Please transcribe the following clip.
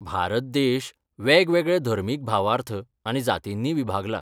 भारत देश वेगवेगळे धर्मीक भावार्थ आनी जातींनी विभागला.